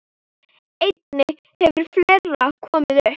Einnig hefur fleira komið upp.